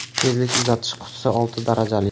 Tezlik uzatish qutisi olti darajali.